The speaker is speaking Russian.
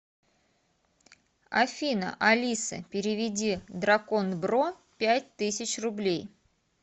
афина алиса переведи дракон бро пять тысяч рублей